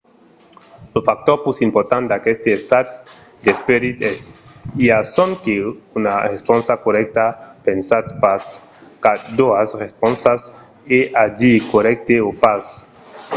lo factor pus important d'aqueste estat d'esperit es: i a sonque una responsa corrècta. pensatz pas qu'a doas responsas es a dire corrècte o fals